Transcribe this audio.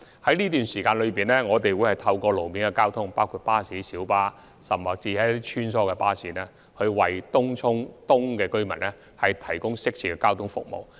在這段時間，我們將會透過路面公共交通服務，包括巴士、小巴及穿梭巴士，為東涌東居民提供適切的交通服務。